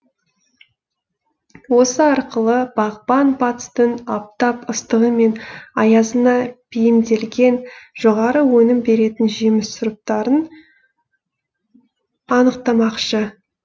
осы арқылы бағбан батыстың аптап ыстығы мен аязына бейімделген жоғары өнім беретін жеміс сұрыптарын анықтамақшы